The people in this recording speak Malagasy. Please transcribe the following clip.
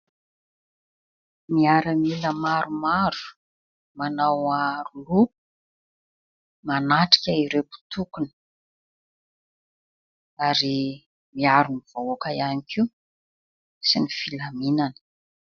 Miaramila maromaro manao aro loha, manatrika ireo mpitokona ary miaro ny vahoaka ihany koa sy ny filaminany.